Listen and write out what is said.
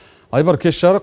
айбар кеш жарық